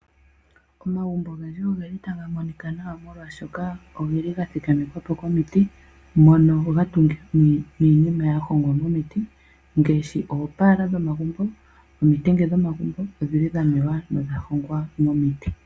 Omagumbo ogendji ogeli taga monika nawa molwashoka oge li ga thikamekwa po komiti mono ga tungithwa niinima ya hongwa momiti ngaashi oopaala dhomagumbo , omitenge dhomagumbo odhi li dha mewa nodha hongwa momiti.